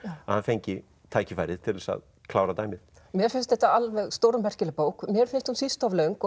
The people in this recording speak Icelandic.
að hann fengi tækifærið til þess að klára dæmið mér finnst þetta alveg stórmerkileg bók mér finnst hún síst of löng og